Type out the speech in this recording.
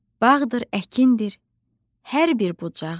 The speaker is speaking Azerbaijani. Bağdır, əkindir hər bir bucağın.